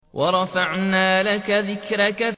وَرَفَعْنَا لَكَ ذِكْرَكَ